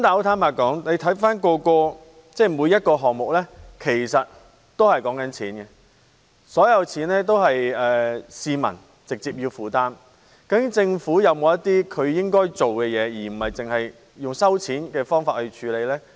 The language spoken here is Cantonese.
但是，坦白說，回看每一個項目，說到底也是跟錢有關，而所有錢也是由市民直接負擔，究竟政府應否有些行動，而不是只靠徵費呢？